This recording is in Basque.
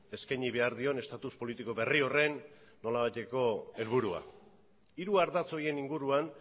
eskaini behar dion estatus politiko berri horren nolabaiteko helburua hiru ardatz horien inguruan